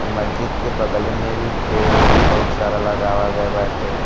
अ मस्जिद के बगले में भी पेड़ ओड़ बहुत सारा लगावा गए बाटे।